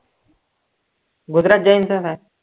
Gujarat Giants